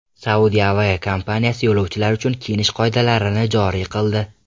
Saudiya aviakompaniyasi yo‘lovchilar uchun kiyinish qoidalarini joriy qildi.